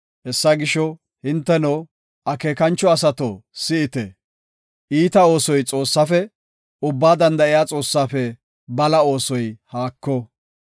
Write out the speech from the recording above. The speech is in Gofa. “Hessa gisho, hinteno, akeekancho asato si7ite, iita oosoy Xoossaafe, Ubbaa Danda7iya Xoossaafe bala oosoy haako.